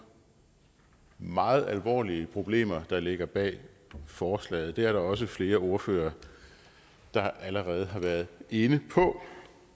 meget alvorlige problemer der ligger bag forslaget det er der også flere ordførere der allerede har været inde på